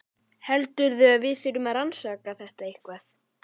Heldurðu að við þurfum að fara að rannsaka þetta eitthvað?